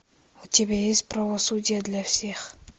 у тебя есть правосудие для всех